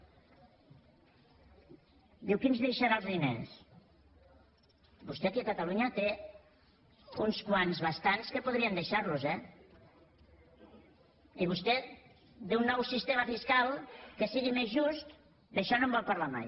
diu qui ens deixarà els diners vostè aquí a catalunya en té uns quants bastants que podrien deixar los en eh i vostè d’un nou sistema fiscal que sigui més just d’això no en vol parlar mai